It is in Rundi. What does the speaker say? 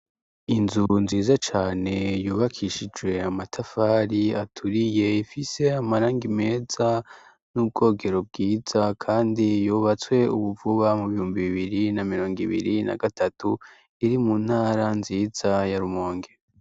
Inzu nziza cane yubakishijwe amatafari aturiye imfise amaranga imeza n'ubwogero bwiza, kandi yubatswe ubuvuba mu biyumbi bibiri na mirongo ibiri na gatatu iri mu ntara nziza ya rumongero.